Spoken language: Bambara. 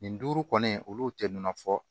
Nin duuru kɔni olu tɛ nɔnɔ fɔ